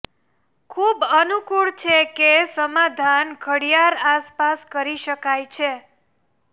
ખૂબ અનુકૂળ છે કે સમાધાન ઘડિયાળ આસપાસ કરી શકાય છે